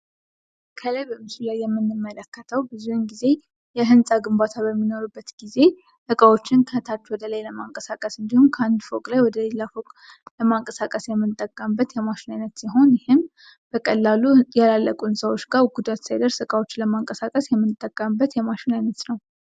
ከላይ በምስሉ ላይ የምንመለከተው በዙውን ጊዜ የህንፃ ግባታ በሚኖር ጊዜ እቃዎችን ከታች ወደላይ ለማንቀሳቀስ እንዲሁም ከአንድ ፎቅላይ ወደ ሌላ ፎቅ ለማንቀሳቀስ የምንጠቀምበት የማሽን አይነት ሲሆን ይህም በቀላሉ ያላለቁ ህንፃዎች ጋ ጉዳት ሳይደርስ እቃዎችን ለማንቀሳቀስ የምንጠቀምበት የማሽን አይነት ነው።